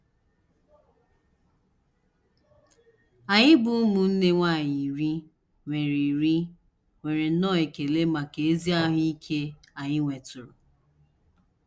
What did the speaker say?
Anyị bụ́ ụmụnne nwanyị iri nwere iri nwere nnọọ ekele maka ezi ahụ ike anyị nwetụrụ.